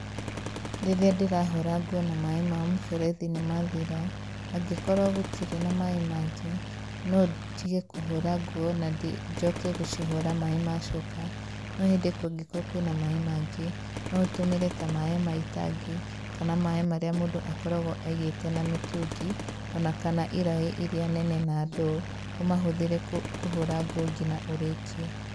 Rĩrĩa ndĩrahũra nguo na maaĩ ma mũberethi nĩmathira, angĩkorwo gũtirĩ na maaĩ mangĩ, no ndige kũhũra nguo na njoke gũcihũra maaĩ macoka no hĩndĩ kũngĩkrwo kwĩna maaĩ mangĩ no ũtũmĩre ta maaĩ ma itangi kana maaĩ marĩa mũndũ akoragwo aigĩte na mĩtũngi, ona kana iraĩ iria nene na ndoo, ũmahũthĩre kũhũra nguo nginya ũrĩkie.